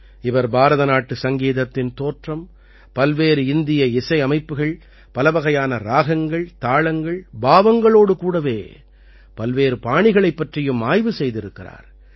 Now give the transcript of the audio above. இவர் பாரதநாட்டு சங்கீதத்தின் தோற்றம் பல்வேறு இந்திய இசையமைப்புகள் பலவகையான ராகங்கள் தாளங்கள் பாவங்களோடு கூடவே பல்வேறு பாணிகளைப் பற்றியும் ஆய்வு செய்திருக்கிறார்